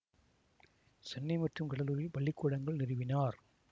சென்னை மற்றும் கடலூரில் பள்ளி கூடங்கள் நிறுவினார்